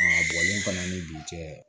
bɔlen fana ni dugu cɛ